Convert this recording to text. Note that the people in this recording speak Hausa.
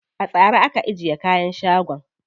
A tsare aka ajiye kayan shagon.